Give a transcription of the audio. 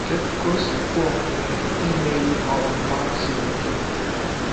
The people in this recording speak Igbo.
Kedu ka o si kwe omume imeri ọnwụnwa siri ike?